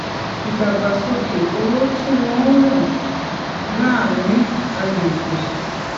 ìdàgbàsókè owó tí wón ń ràn láàárín àgbègbè